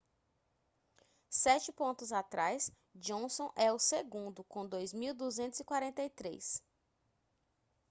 sete pontos atrás johnson é o segundo com 2.243